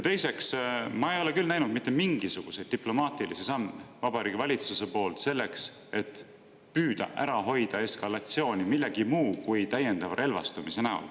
Teiseks, ma ei ole küll näinud mitte mingisuguseid diplomaatilisi samme Vabariigi Valitsuse poolt selleks, et püüda ära hoida eskalatsiooni, mitte midagi muud kui täiendavat relvastumist.